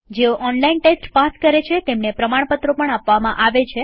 જેઓ online test pass કરે છે તેમને પ્રમાણપત્રો પણ આપીએ છીએ